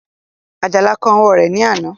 Àjàlá kán ọwọ́ rẹ̀ ní àná